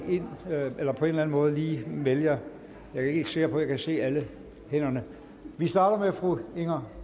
eller på anden måde melde jer jeg ikke sikker på at jeg kan se alle hænderne vi starter med fru inger